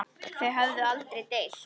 Þau höfðu aldrei deilt.